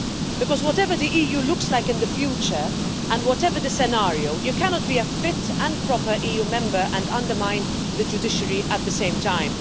Because whatever the EU looks like in the future, and whatever the scenario, you cannot be a fit and proper EU member and undermine the judiciary at the same time.